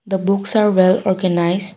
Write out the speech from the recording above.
the books are well organise.